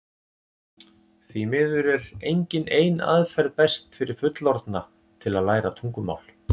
Því miður er engin ein aðferð best fyrir fullorðna til að læra tungumál.